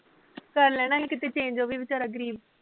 ਕਰ ਲੈਣਾ ਸੀ ਕਿਤੇ change ਉਹ ਵੀ ਵੇਚਾਰਾ ਗਰੀਬ